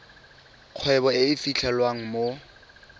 kgwebo e e fitlhelwang mo